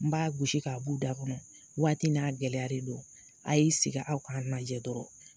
N b'a gosi k'a b'u da kɔnɔ waati n'a gɛlɛya de don a y'i sigi aw k'an lajɛ dɔrɔn